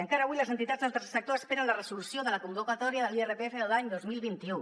encara avui les entitats del tercer sector esperen la resolució de la convocatòria de l’irpf de l’any dos mil vint u